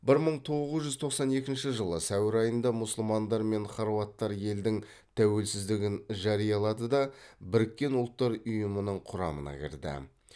бір мың тоғыз жүз тоқсан екінші жылы сәуір айында мұсылмандар мен хорваттар елдің тәуелсіздігін жариялады да біріккен ұлттар ұйымының құрамына кірді